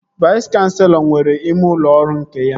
Vais kanselọ nwere ime ụlọ ọrụ nke ya